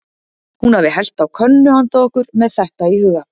Hún hafi hellt á könnu handa okkur, með þetta í huga.